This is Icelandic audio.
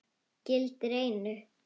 Gildir einu!